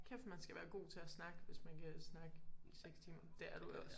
Kæft man skal være god til at snakke hvis man kan snakke i 6 timer. Det er du jo også